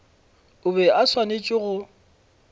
o be a swanetše go